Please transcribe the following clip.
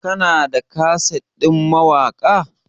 kana da kaset ɗin mawaka?